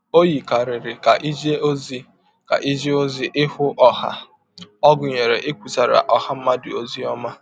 Ọ yikarịrị ka ije ọzi ka ije ọzi ihụ ọha a ọ̀ gụnyere ikwụsara ọha mmadụ ọzi ọma.